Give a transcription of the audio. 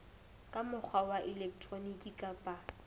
ka mokgwa wa elektroniki kapa